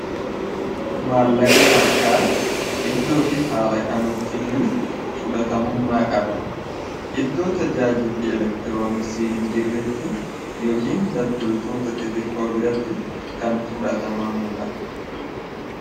maallaqni harkaa iddoo fi haalakamitti iyyuu fudhatamummaa qaba iddoo tajaajilli elektirooniksi hin jirretti yookiin daddaltoota ixiqkoo biratti kan fudhatamamuu dha